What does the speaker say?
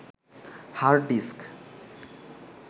hard disk